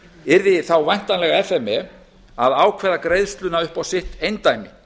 yrði þá væntanlega f m e að ákveða greiðsluna upp á sitt eindæmi